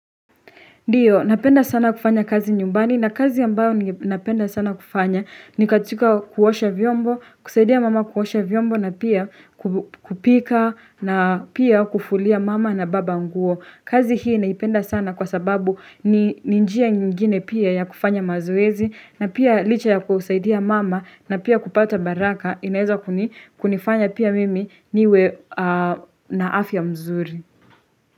Ndiyo napenda sana kufanya kazi nyumbani na kazi ambayo napenda sana kufanya ni katika kuosha vyombo kusaidia mama kuosha vyombo na pia kupika na pia kufulia mama na baba nguo kazi hii naipenda sana kwa sababu ninjia nyingine pia ya kufanya mazoezi na pia licha ya kusaidia mama na pia kupata baraka inaeza kunifanya pia mimi niwe na afya mzuri.